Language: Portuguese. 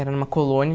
Era numa colônia.